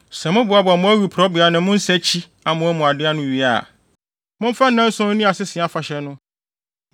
Sɛ moboaboa mo awiporowbea ne mo nsakyi amoa mu ade ano wie a, momfa nnanson nni Asese Afahyɛ no.